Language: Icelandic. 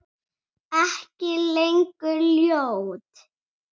Ekki lengur ljót.